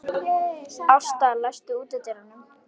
Ásta, læstu útidyrunum.